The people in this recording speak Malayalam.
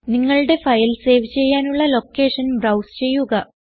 നിങ്ങളുടെ ഫയൽ സേവ് ചെയ്യാനുള്ള ലൊക്കേഷൻ ബ്രൌസ് ചെയ്യുക